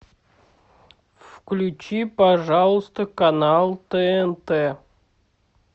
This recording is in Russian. включи пожалуйста канал тнт